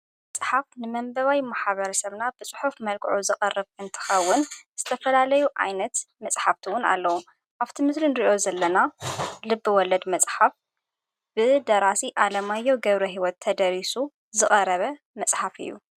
መጽሓፍ ንመንበባይ ምሓበር ሰምና ብጽሑፍ መልክዑ ዝቐረፍ እንትኻውን ዝተፈላለዩ ኣይነት መጽሓብቲውን ኣለዉ ኣብቲ ምድርንርእዮ ዘለና ልቢ ወለድ መጽሓፍ ብደራሲ ኣለማዮው ገብረ ሕይወት ተደሪሱ ዝቐረበ መጽሓፍ እዩ።